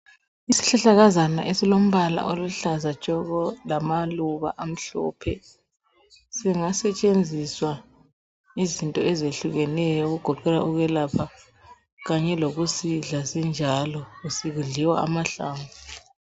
Isihlahlakazana esilombala oluhlaza tshoko lamaluba amhlophe singasetshenziswa izinto ezehlukeneyo okugoqela ukwelapha kanye lokusidla sinjalo sidliwa amahlamvu